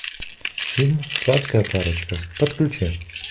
фильм сладкая парочка подключи